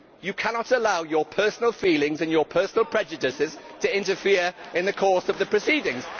You cannot allow your personal feelings and your personal prejudices to interfere in the course of the proceedings.